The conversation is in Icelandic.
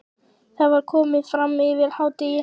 Það var komið fram yfir hádegi.